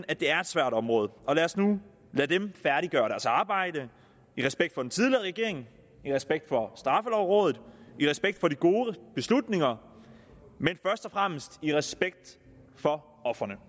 at det er et svært område og lad os nu lade dem færdiggøre deres arbejde i respekt for den tidligere regering i respekt for straffelovrådet i respekt for de gode beslutninger men først og fremmest i respekt for ofrene